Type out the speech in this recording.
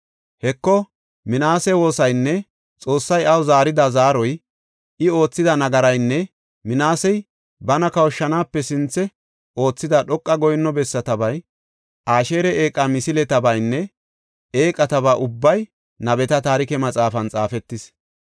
Heko, Minaase woosaynne Xoossay iyaw zaarida zaaroy, I oothida nagaraynne Minaasey bana kawushanaape sinthe oothida dhoqa goyinno bessatabay, Asheeri eeqa misiletabaynne eeqataba ubbay nabeta taarike maxaafan xaafetis.